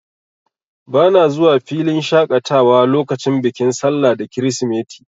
Bana zuwa filin shaƙatawa lokacin bikin sallah da kirisimeti.